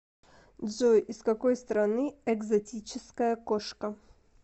джой из какой страны экзотическая кошка